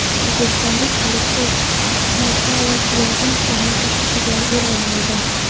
O‘zbekistonlik Aleksey Mochalov yarim final bosqichiga yo‘llanma oldi.